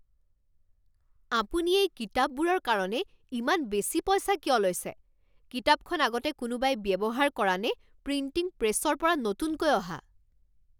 আপুনি এই কিতাপবোৰৰ কাৰণে ইমান বেছি পইচা কিয় লৈছে? কিতাপখন আগতে কোনোবাই ব্যৱহাৰ কৰা নে প্ৰিণ্টিং প্ৰেছৰ পৰা নতুনকৈ অহা?